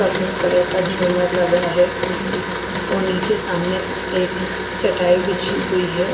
सफेद कलर का जुमर लगा है और निचे सामने एक चटाई बिछी हुई है।